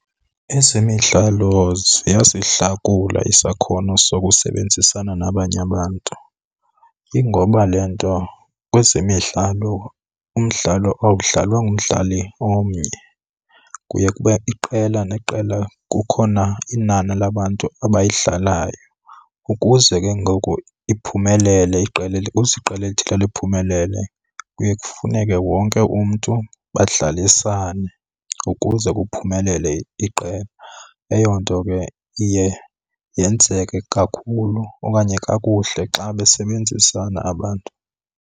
Ezemidlalo ziyasihlakula isakhono sokusebenzisana nabanye abantu. Ingoba le nto kwezemidlalo umdlalo awudlalwa ngumdlali omnye, kuye kube iqela neqela kukhona inani labantu abayidlalayo. Ukuze ke ngoku iphumelele iqela , ukuze iqela elithile liphumelele kuye kufuneke wonke umntu badlalisane ukuze kuphumelele iqela. Eyo nto ke iye yenzeke kakhulu okanye kakuhle xa besebenzisana abantu.